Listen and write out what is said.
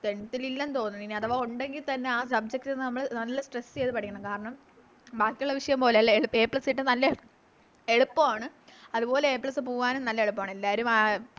Tenth ല് ഇല്ലെന്ന് തോന്ന് അഥവാ ഒണ്ടെങ്കി തന്നെ ആ Subject നമ്മള് നല്ല Stress ചെയ്ത പഠിക്കണം കാരണം ബാക്കിയുള്ള വിഷയം പോലെയല്ല A plus കിട്ടാൻ നല്ല എളുപ്പാണ് അതുപോലെ A plus പോവാനും നല്ല എളുപ്പാണ് എല്ലാരും ആ